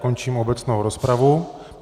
Končím obecnou rozpravu.